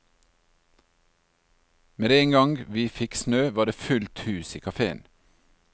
Med en gang vi fikk snø, var det fullt hus i kaféen.